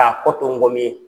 kɔ to ngɔmi ye.